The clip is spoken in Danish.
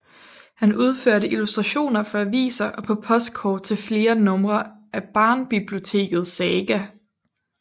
Han udførte illustrationer for aviser og på postkort og til flere numre af Barnbiblioteket Saga